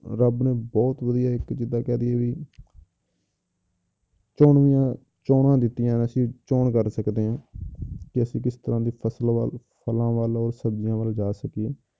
ਰੱਬ ਨੇ ਬਹੁਤ ਵਧੀਆ ਇੱਕ ਜਿੱਦਾਂ ਕਹਿ ਦੇਈਏ ਵੀ ਚੋਣਵੀਆਂ ਚੋਣਾਂ ਦਿੱਤੀਆਂ, ਅਸੀਂ ਚੋਣ ਕਰ ਸਕਦੇ ਹਾਂ ਕਿ ਅਸੀਂ ਕਿਸ ਤਰ੍ਹਾਂ ਦੀ ਫਸਲ ਵੱਲ, ਫਲਾਂ ਵੱਲ ਔਰ ਸਬਜ਼ੀਆਂ ਵੱਲ ਜਾ ਸਕੀਏ।